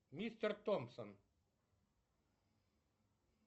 мистер томпсон